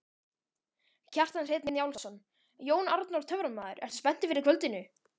Kjartan Hreinn Njálsson: Jón Arnór töframaður, ertu spenntur fyrir kvöldinu?